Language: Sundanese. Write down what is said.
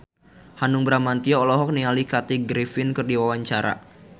Hanung Bramantyo olohok ningali Kathy Griffin keur diwawancara